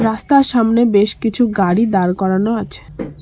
রাস্তার সামনে বেশ কিছু গাড়ি দাঁড় করানো আছে।